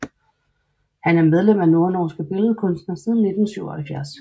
Han er medlem af Nordnorske Billedkunstnere siden 1977